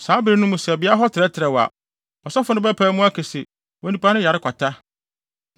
Saa bere no mu sɛ beae hɔ no trɛtrɛw a, ɔsɔfo no bɛpae mu aka se, onipa no yare kwata.